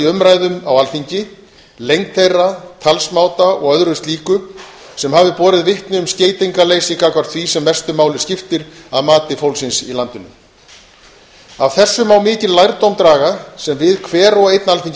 umræðum á alþingi lengd þeirra talsmáta og öðru slíku sem hafi borið vitni um skeytingarleysi gagnvart því sem mestu máli skipti að mati fólksins í landinu af þessu má mikinn lærdóm draga sem við hver og einn